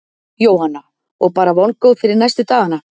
Jóhanna: Og bara vongóð fyrir næstu dagana?